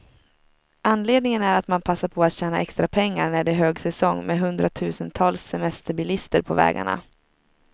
Anledningen är att man passar på att tjäna extra pengar, när det är högsäsong med hundratusentals semesterbilister på vägarna.